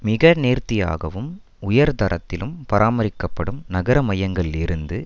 மிக நேர்த்தியாகவும் உயர்தரத்திலும் பராமரிக்கப்படும் நகர மையங்களில் இருந்து